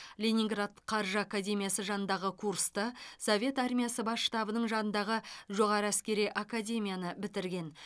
ленинград қаржы академиясы жанындағы курсты совет армиясы бас штабының жанындағы жоғары әскери академияны бітірген